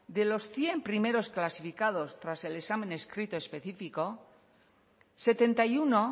de los cien primeros clasificados tras el examen escrito específico setenta y uno